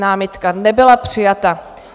Námitka nebyla přijata.